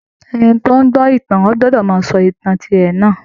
Ẹni tí ó ń gbọ́ ìtàn ò gbọdọ̀ máa sọ ìtàn tirẹ̀ náà